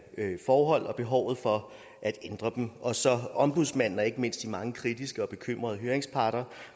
forhold og behovet for at ændre dem og så opfattelsen ombudsmanden og ikke mindst de mange kritiske og bekymrede høringsparter